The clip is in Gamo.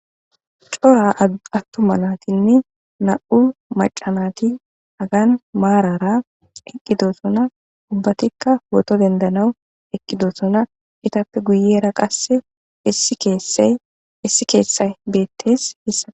Cora attuma naatinne na7u macanati agan maarara eqqidosona ubbatikka woto dendanaw eqqidosona itappe guyera qasse issi keessey issi keessay beettes hissa.